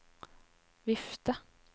vifte